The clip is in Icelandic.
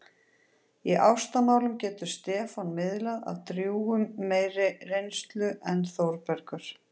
Í ástamálum getur Stefán miðlað af drjúgum meiri reynslu en Þórbergur.